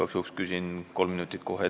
Igaks juhuks küsin kolm minutit kohe ette ära.